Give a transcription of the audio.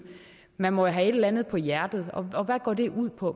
man må jo have et eller andet på hjerte og hvad går det ud på